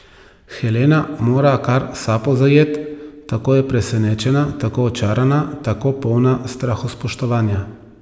Helena mora kar sapo zajet, tako je presenečena, tako očarana, tako polna strahospoštovanja.